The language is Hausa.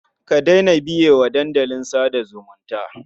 Ka daina biye wa dandalin sa da zumunta.